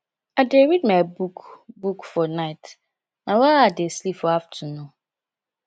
i dey read my book book for night na why i dey sleep for afternoon